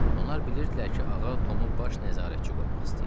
Onlar bilirdilər ki, ağa Tomu baş nəzarətçi qoymaq istəyir.